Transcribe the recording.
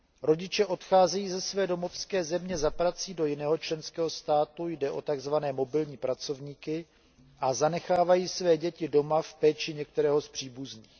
Rodiče odcházejí ze své domovské země za prací do jiného členského státu jde o takzvané mobilní pracovníky a zanechávají své děti doma v péči některého z příbuzných.